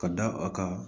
Ka da a kan